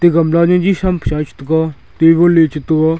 gamla jaji tham pe sa a che tega table le chetaia.